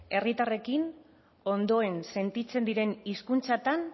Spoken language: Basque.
herritarrekin ondoen sentitzen diren hizkuntzatan